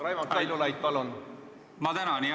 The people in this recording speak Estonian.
Raimond Kaljulaid, palun!